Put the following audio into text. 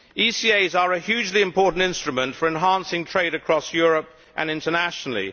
ECAs are a hugely important instrument for enhancing trade across Europe and internationally.